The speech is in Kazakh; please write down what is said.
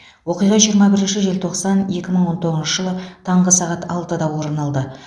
оқиға жиырма бірінші желтоқсан екі мың он тоғызыншы жылы таңғы сағат алтыда орын алды